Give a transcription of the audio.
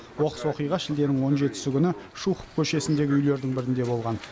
оқыс оқиға шілденің он жетісі күні шухов көшесіндегі үйлердің бірінде болған